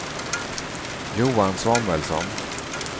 Johan Samuelsson